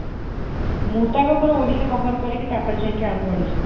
ମୁଁ ତ ଆଗ ପୁରା ଓଡ଼ିଶା cover କରିକି ତା ପରେ ଯାଇକି ଆଉ କୁଆଡ଼େ ଯିବି।